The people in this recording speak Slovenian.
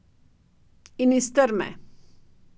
In iz trme.